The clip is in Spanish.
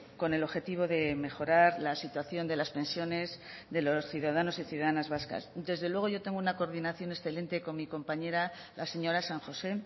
con el objetivo de mejorar la situación de las pensiones de los ciudadanos y ciudadanas vascas desde luego yo tengo una coordinación excelente con mi compañera la señora san josé